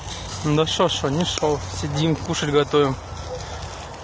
да что что ничто сидим кушать готовим